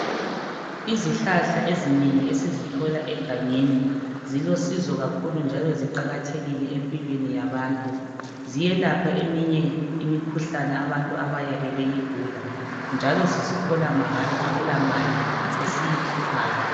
Izihlahla ezinengi esizithola egangeni zilosizo kakhulu njalo ziqakathekile empilweni yabantu. Ziyelapha eminye imikhuhlane abantu abayabe beyigula njalo sizithola mahala akulamali esiyikhiphayo.